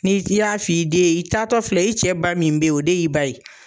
Ni i y'a f'i den ye i taatɔ filɛ i cɛ ba min bɛ yen o de y'i ba ye.